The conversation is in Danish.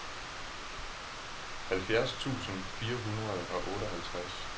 halvfjerds tusind fire hundrede og otteoghalvtreds